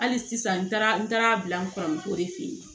Hali sisan n taara n taara bila n kɔrɔmuso de fe yen